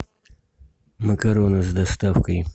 макароны с доставкой